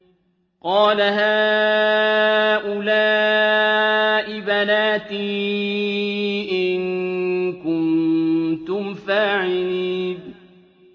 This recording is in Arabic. قَالَ هَٰؤُلَاءِ بَنَاتِي إِن كُنتُمْ فَاعِلِينَ